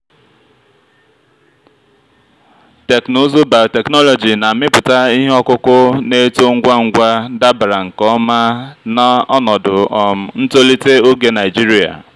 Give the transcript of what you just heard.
teknụzụ biotechnology na-amịpụta ihe ọkụkụ na-eto ngwa ngwa dabara nke ọma na ọnọdụ um ntolite oge naijiria.